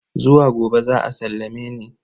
Zuwa gobe za a sallame ni.